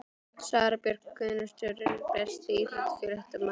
Sara Björk Gunnarsdóttir Besti íþróttafréttamaðurinn?